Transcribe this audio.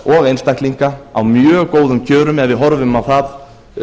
og einstaklinga á mjög góðum kjörum ef við horfum á það